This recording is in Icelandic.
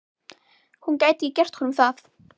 Hún gæti ekki gert honum það.